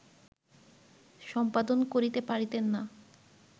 সম্পাদন করিতে পারিতেন না